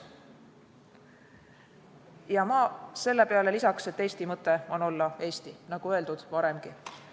Ma lisaks sellele, et Eesti mõte on olla Eesti, nagu öeldud varemgi.